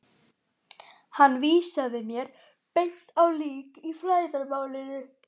Hann vísaði mér beint á lík í flæðarmálinu.